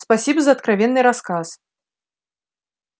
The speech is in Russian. спасибо за откровенный рассказ